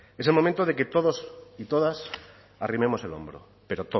es el momento de que todos y todas arrimemos el hombro pero